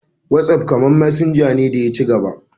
Whatsapp kamar messenger ne da ya ci gaba.